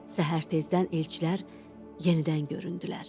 Səhər tezdən elçilər yenidən göründülər.